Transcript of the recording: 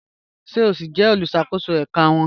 Ṣe o si jẹ oluṣakoso ẹka wọn?